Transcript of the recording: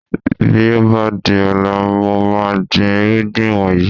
Bí ó bá di ní ọ̀la, mo máa gbin irúgbìn wọ̀nyí